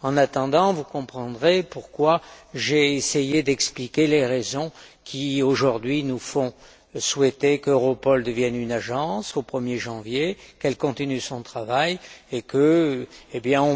En attendant, vous comprendrez pourquoi j'ai essayé d'expliquer les raisons qui, aujourd'hui, nous font souhaiter qu'Europol devienne une agence au 1 er janvier, qu'elle continue son travail et qu'on